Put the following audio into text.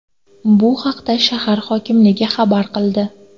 Bu haqda shahar hokimligi xabar qildi .